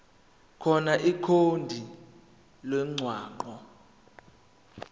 khona ikhodi lomgwaqo